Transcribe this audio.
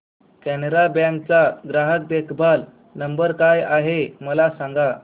Canara Bank चा ग्राहक देखभाल नंबर काय आहे मला सांगा